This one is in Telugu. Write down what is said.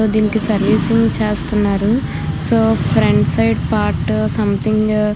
దేనికి సర్వీసింగ్ చేస్తున్నారు so front side part something --